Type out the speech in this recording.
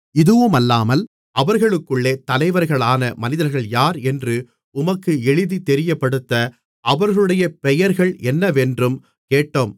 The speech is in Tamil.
இதுவுமல்லாமல் அவர்களுக்குள்ளே தலைவர்களான மனிதர்கள் யார் என்று உமக்கு எழுதி தெரியப்படுத்த அவர்களுடைய பெயர்கள் என்னவென்றும் கேட்டோம்